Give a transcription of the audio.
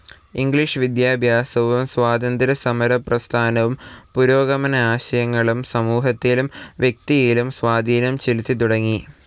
English വിദ്യാഭ്യാസവും സ്വാതന്ത്ര്യസമരപ്രസ്ഥാനവും പുരോഗമനാശയങ്ങളും സമൂഹത്തിലും വ്യക്തിയിലും സ്വാധീനം ചെലുത്തിത്തുടങ്ങി.